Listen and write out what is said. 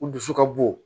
U dusu ka bon